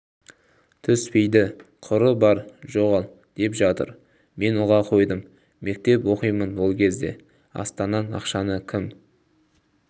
түспейді құры бар жоғал деп жатыр мен ұға қойдым мектеп оқимынол кезде астаннан ақшаны кім